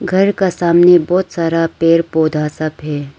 घर का सामने बहोत सारा पेड़ पौधा सब है।